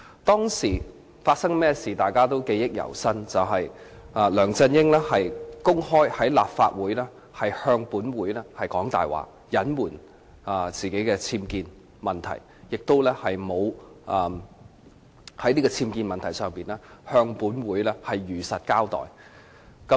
當時發生甚麼事，大家都記憶猶新，就是梁振英公開在立法會說謊，隱瞞自己的僭建問題，亦沒有在僭建問題上向立法會如實交代。